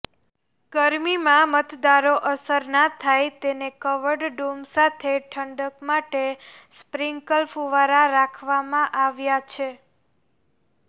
ગરમીમાં મતદારો અસરના થાય તેને કવર્ડ ડુમ સાથે ઠંડક માટે સ્પ્રીન્કલ ફુવારા રાખવામાં આવ્યા છે